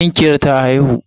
Tinkiyar ta haihu.